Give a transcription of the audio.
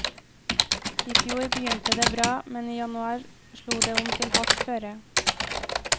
I fjor begynte det bra, men i januar slo det om til hardt føre.